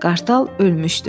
Qartal ölmüşdü.